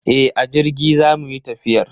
E, a jirgi zamu yi tafiyar.